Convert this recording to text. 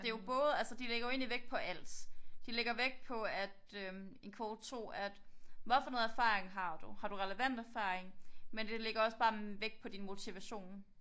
Det jo både altså de lægger jo egentlig vægt på alt de lægger vægt på at øh en kvote 2 at hvad for noget erfaring har du har du relevant erfaring men det lægger også bare vægt på din motivation